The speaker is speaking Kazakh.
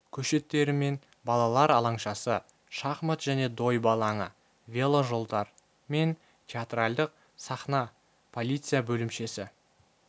көшеттері мен балалар алаңшасы шахмат және дойбы алаңы вело жолдар мен театралдық сахна полиция бөлімшесі